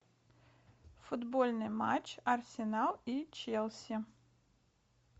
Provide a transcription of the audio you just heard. футбольный матч арсенал и челси